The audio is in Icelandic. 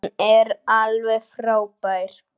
Hún er alveg frábær.